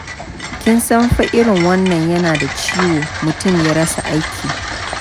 Kin san fa irin wannan yana da ciwo, mutum ya rasa aiki.